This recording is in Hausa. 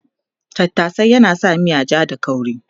Tattashe yana sa miya ja da kauri